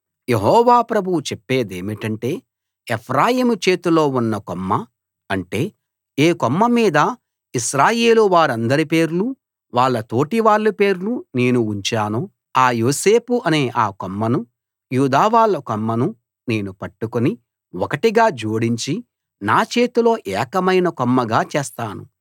యెహోవా ప్రభువు చెప్పేదేమిటంటే ఎఫ్రాయిము చేతిలో ఉన్న కొమ్మ అంటే ఏ కొమ్మ మీద ఇశ్రాయేలువారందరి పేర్లు వాళ్ళ తోటివాళ్ళ పేర్లు నేను ఉంచానో ఆ యోసేపు అనే ఆ కొమ్మను యూదావాళ్ళ కొమ్మను నేను పట్టుకుని ఒకటిగా జోడించి నా చేతిలో ఏకమైన కొమ్మగా చేస్తాను